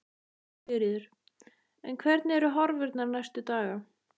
Sigríður: En hvernig eru horfurnar næstu daga?